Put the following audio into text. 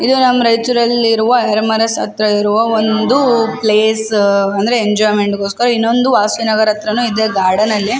ಇದು ನಮ್ಮ್ ರಾಯ್ಚುರ್ ಅಲ್ಲಿರುವ ಹೇರೆಮನೆಸ್ ಹತ್ರ ಇರುವ ಒಂದು ಪ್ಲೇಸ್ ಅಂದ್ರೆ ಎಂಜೋಯ್ಮೆಂಟ್ ಗೋಸ್ಕರ ಇನ್ನೊಂದು ವಾಸಿನ್ ಅವರ್ ಹತ್ರನು ಇದೆ ಗಾರ್ಡನ್ ಅಲ್ಲಿ --